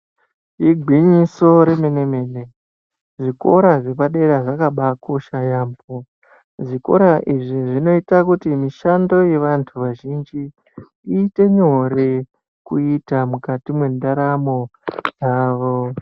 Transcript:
Igwinyiso remene mene, zvikora zvepadera zvakabakosha yaambo, zvikora izvi zvinoita kuti mishando yevantu vazhinji iite nyore kuita mukati mentaramo yavo.